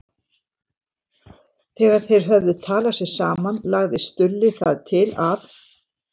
Þegar þeir höfðu talað sig saman lagði Stulli það til að